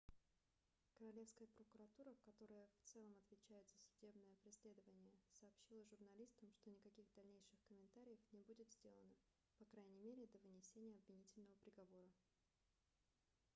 королевская прокуратура которая в целом отвечает за судебное преследование сообщила журналистам что никаких дальнейших комментариев не будет сделано по крайней мере до вынесения обвинительного приговора